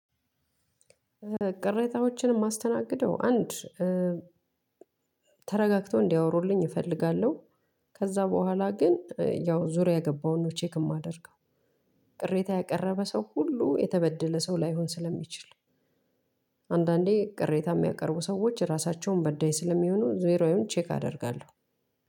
ቅሬታዎችን የማስተናግደው አንድ ተረጋግቶ እንዲያወሩልኝ እፈልጋለሁ። ከዛ በኋላ ግን ያው ዙሪያ ገባውን ነው ቼክ የማደርገው። ቅሬታ ያቀረበ ሰው ሁሉ የተበደለ ሰው ላይሆን ስለሚችል። አንዳንዴ ቅሬታ የሚያቀርቡ ሰዎች ራሳቸውም በዳይ ስለሚሆኑ ዙሪያውን ቼክ አደርጋለሁ።